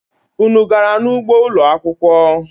Unu gara n'ugbo ụlo akwụkwọ?